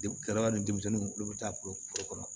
De kɛlɛla ni denmisɛnninw olu bɛ taa foro kɔnɔ